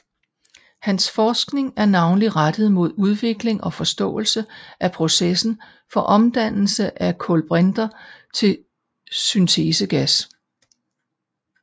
Hans forskning er navnlig rettet mod udvikling og forståelse af processen for omdannelse af kulbrinter til syntesegas